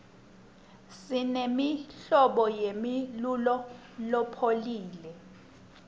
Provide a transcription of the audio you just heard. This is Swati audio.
simemltlobo yemlulo lopholile